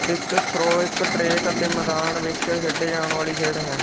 discuss throw ਇੱਕ track ਅਤੇ ਮੈਦਾਨ ਵਿੱਚ ਖੇਡੇ ਜਾਣ ਵਾਲੀ ਖੇਡ ਹੈ